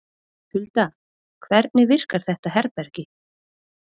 Hulda, hvernig virkar þetta herbergi?